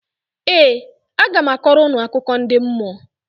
Ee, aga m akọrọ unu akụkọ ndị mmụọ